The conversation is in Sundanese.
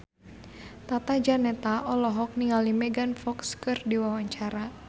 Tata Janeta olohok ningali Megan Fox keur diwawancara